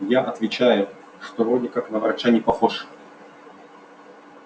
я отвечаю что вроде как на врача не похож